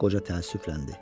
Qoca təəssüfləndi.